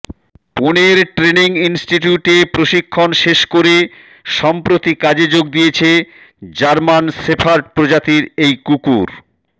পুনের training ইন্সটিটিউটে প্রশিক্ষণ শেষ করে সম্প্রতি কাজে যোগ দিয়েছে জার্মান শেফার্ড প্রজাতির এই কুকুর